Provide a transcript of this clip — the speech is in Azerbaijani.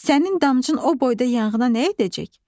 Sənin damcın o boyda yanğına nə edəcək?